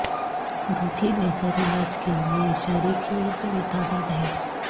عروقی laser علاج کے لئے اشارے کی ایک بڑی تعداد ہیں